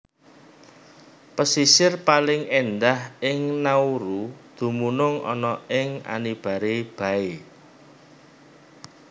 Pesisir paling éndah ing Nauru dumunung ana ing Anibare Bay